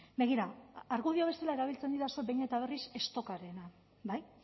begira argudio bezala erabiltzen didazue behin eta berriz stockarena bai